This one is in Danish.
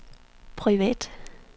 privat